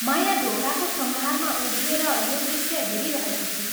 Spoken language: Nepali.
माया ढोकाको सँघारमा उभिएर यो दृश्य हेरिरहेकी थिई।